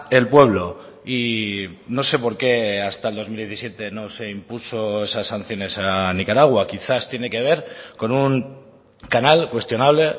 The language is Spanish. el pueblo y no sé por qué hasta el dos mil diecisiete no se impuso esas sanciones a nicaragua quizás tiene que ver con un canal cuestionable